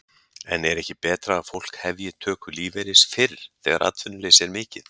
En er ekki betra að fólk hefji töku lífeyris fyrr þegar atvinnuleysi er mikið?